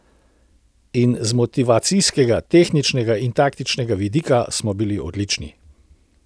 In z motivacijskega, tehničnega in taktičnega vidika smo bili odlični.